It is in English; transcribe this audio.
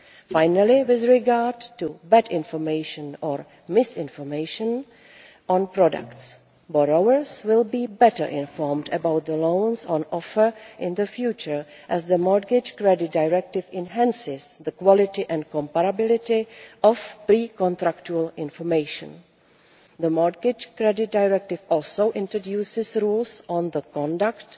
Finally, with regard to bad information or misinformation on products, borrowers will be better informed about the loans on offer in the future, as the Mortgage Credit Directive enhances the quality and comparability of pre contractual information. The Mortgage Credit Directive also introduces rules on the conduct